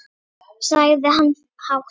Og svo hló hann dátt.